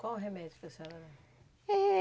Qual o remédio que a senhora...É